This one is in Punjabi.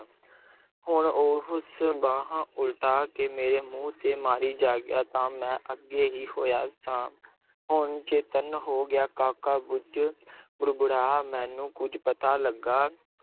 ਹੁਣ ਉਸ ਬਾਂਹ ਉਲਟਾ ਕੇ ਮੇਰੇ ਮੂੰਹ ਤੇ ਮਾਰੀ, ਜਾਗਿਆ ਤਾਂ ਮੈਂ ਅੱਗੇ ਹੀ ਹੋਇਆ ਸਾਂ ਹੁਣ ਚੇਤੰਨ ਹੋ ਗਿਆ, ਕਾਕਾ ਕੁੱਝ ਬੁੜਬੁੜਾਇਆ, ਮੈਨੂੰ ਕੁੱਝ ਪਤਾ ਲੱਗਾ,